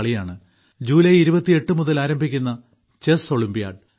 അതായത് ജൂലൈ 28 മുതൽ ആരംഭിക്കുന്ന ചെസ് ഒളിമ്പ്യാഡ്